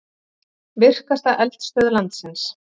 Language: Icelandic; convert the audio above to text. Virkasta eldstöð landsins